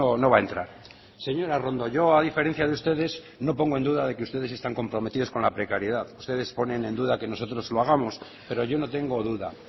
no va a entrar señora arrondo yo a diferencia de ustedes no pongo en duda de que ustedes están comprometidos con la precariedad ustedes ponen en duda que nosotros lo hagamos pero yo no tengo duda